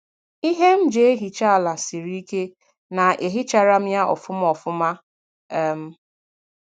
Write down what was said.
Ihe m ji ehicha ala siri ike na-ehicharam ya ofuma ofuma. um